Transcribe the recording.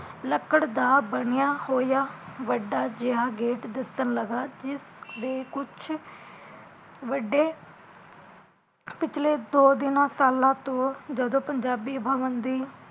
ਲੱਕੜ ਦਾ ਬਣਿਆ ਹੋਇਆ ਵੱਡਾ ਜੇਹਾ ਗੇਟ ਦਿਸਣ ਲਗਾ ਜਿਸਤੇ ਕੁਸ਼ ਵੱਡੇ ਪਿਛਲੇ ਦੋ ਤਿੰਨ ਸਾਲਾਂ ਤੋਂ ਜਦੋਂ ਪੰਜਾਬੀ ਬਵਣ ਦੀ